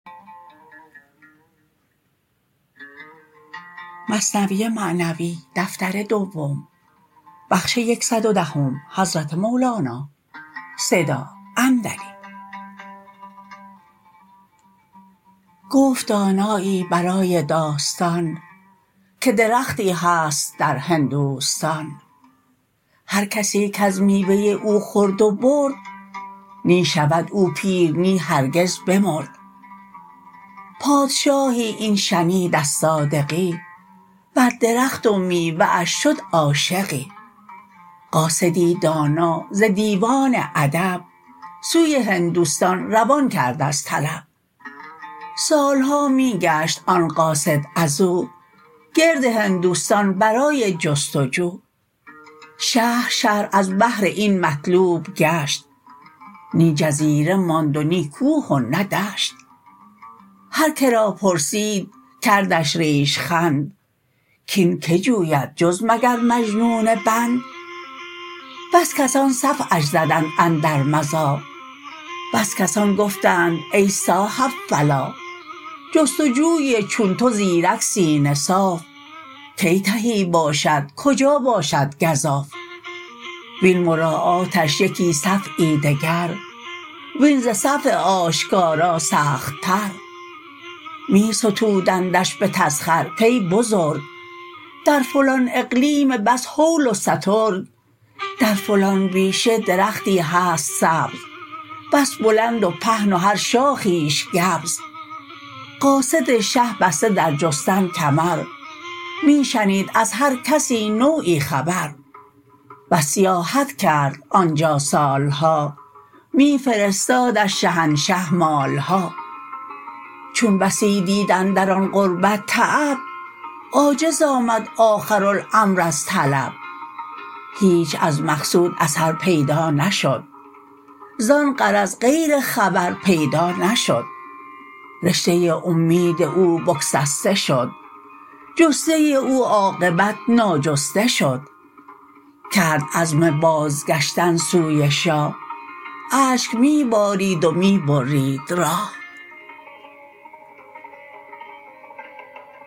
گفت دانایی برای داستان که درختی هست در هندوستان هر کسی کز میوه او خورد و برد نی شود او پیر نی هرگز بمرد پادشاهی این شنید از صادقی بر درخت و میوه اش شد عاشقی قاصدی دانا ز دیوان ادب سوی هندوستان روان کرد از طلب سالها می گشت آن قاصد ازو گرد هندوستان برای جست و جو شهر شهر از بهر این مطلوب گشت نی جزیره ماند و نی کوه و نی دشت هر که را پرسید کردش ریش خند کین کی جوید جز مگر مجنون بند بس کسان صفعش زدند اندر مزاح بس کسان گفتند ای صاحب فلاح جست و جوی چون تو زیرک سینه صاف کی تهی باشد کجا باشد گزاف وین مراعاتش یکی صفع دگر وین ز صفع آشکارا سخت تر می ستودندش به تسخر کای بزرگ در فلان اقلیم بس هول و سترگ در فلان بیشه درختی هست سبز بس بلند و پهن و هر شاخیش گبز قاصد شه بسته در جستن کمر می شنید از هر کسی نوعی خبر بس سیاحت کرد آنجا سالها می فرستادش شهنشه مالها چون بسی دید اندر آن غربت تعب عاجز آمد آخر الامر از طلب هیچ از مقصود اثر پیدا نشد زان غرض غیر خبر پیدا نشد رشته اومید او بگسسته شد جسته او عاقبت ناجسته شد کرد عزم بازگشتن سوی شاه اشک می بارید و می برید راه